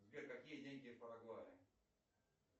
сбер какие деньги в парагвае